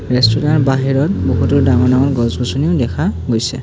Restaurant বাহিৰত বহুতো ডাঙৰ-ডাঙৰ গছ-গছনিও দেখা গৈছে।